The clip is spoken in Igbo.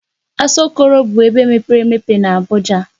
Asọkọrọ bụ ebe mepere emepe na Abuja.